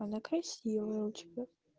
она красивая у тебя